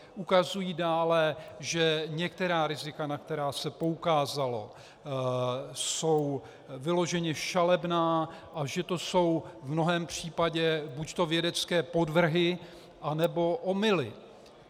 Ukazují dále, že některá rizika, na která se poukázalo, jsou vyloženě šalebná a že to jsou v mnohém případě buďto vědecké podvrhy, anebo omyly.